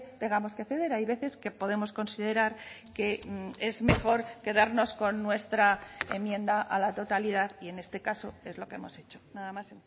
tengamos que ceder hay veces que podemos considerar que es mejor quedarnos con nuestra enmienda a la totalidad y en este caso es lo que hemos hecho nada más